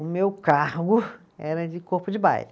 O meu cargo era de corpo de baile.